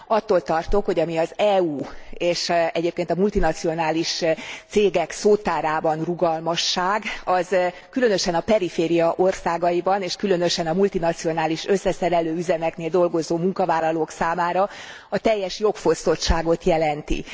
Attól tartok, hogy ami az EU és egyébként a multinacionális cégek szótárában rugalmasság, az különösen a periféria országaiban és különösen a multinacionális összeszerelő üzemeknél dolgozó munkavállalók számára a teljes jogfosztottságot jelenti.